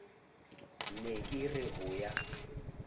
ne ke re ho ya